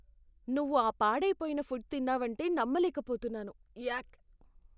నువ్వు ఆ పాడై పోయిన ఫుడ్ తిన్నావంటే నమ్మలేకపోతున్నాను. యాక్!